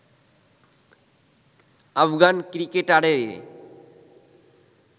Afghan ক্রিকেটারেরই